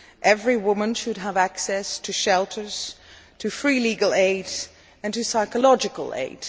Every woman should have access to shelters, to free legal aid and to psychological aid.